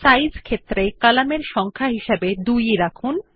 size শিরোনাম এর column এর সংখ্যা হিসাবে 2 রাখুন